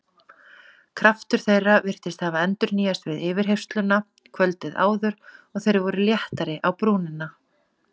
Kraftur þeirra virtist hafa endurnýjast við yfirheyrsluna kvöldið áður og þeir voru léttari á brúnina.